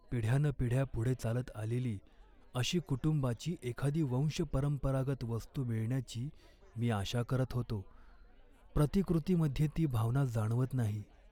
पिढ्यानपिढ्या पुढे चालत आलेली अशी कुटुंबाची एखादी वंशपरंपरागत वस्तू मिळण्याची मी आशा करत होतो. प्रतिकृतीमध्ये ती भावना जाणवत नाही.